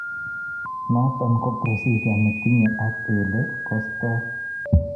Noton ko procedure netinye ak elee kostoii